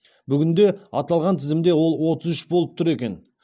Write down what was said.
бүгінде аталған тізімде ол отыз үш болып тұр екен